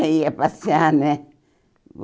É, ia passear, né?